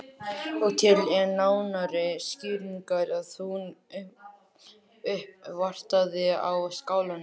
Og til enn nánari skýringar að hún uppvartaði á Skálanum.